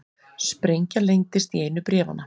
Sprengja leyndist í einu bréfanna